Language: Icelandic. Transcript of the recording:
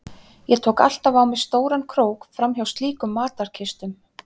Ég tók alltaf á mig stóran krók fram hjá slíkum matarkistum.